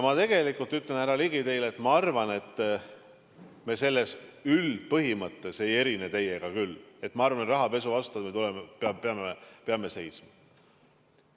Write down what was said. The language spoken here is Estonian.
Ma tegelikult ütlen, härra Ligi, teile, et minu arvates me teiega selle üldpõhimõtte osas ei erine: rahapesu vastu me peame seisma.